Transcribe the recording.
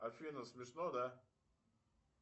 афина смешно да